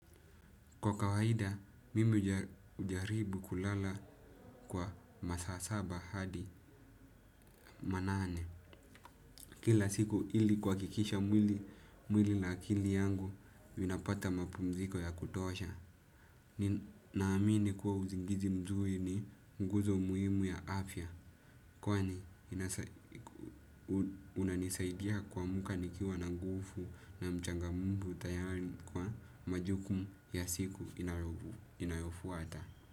Kwa kawaida, mimi hujaribu kulala kwa masaa saba hadi manane. Kila siku ili kuhakikisha mwili na akili yangu inapata mapumziko ya kutosha. Naamini kuwa uzingizi mzuri ni nguzo muhimu ya afya. Kwani, unanisaidia kuamka nikiwa na nguvu na mchangamfu tayari kwa majukumu ya siku inayofuata.